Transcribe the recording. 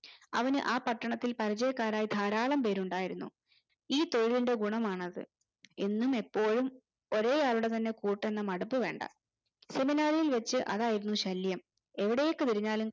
അവന് ആ പട്ടണത്തിൽ പരിജയക്കാരായി ധരാളം പേരുണ്ടായിരുന്നു ഈ തൊഴിലിന്റെ ഗുണമാണത് എന്നും ഇപ്പോഴും ഒരേ ആളുടെ തന്നെ കൂട്ട് എന്ന് മടുപ് വേണ്ട ഇൽ വെച്ചു അതായിരുന്നു ശല്യം എവിടേക് തിരിഞ്ഞാലും